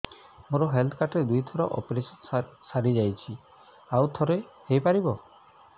ମୋର health card ରେ ଦୁଇ ଥର ଅପେରସନ ସାରି ଯାଇଛି ଆଉ ଥର ହେଇପାରିବ